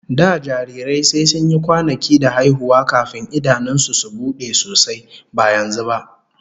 Da jarirai sai sun yi kwanaki da haihuwa kafin idanun su su bude sosai, ba yanzu ba.